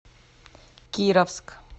кировск